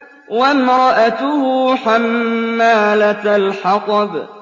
وَامْرَأَتُهُ حَمَّالَةَ الْحَطَبِ